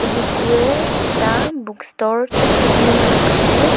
ema kue ta book store chong chong kunu ngan ang kap le.